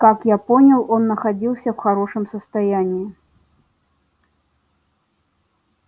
как я понял он находился в хорошем состоянии